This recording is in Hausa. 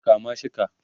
kama shi ka!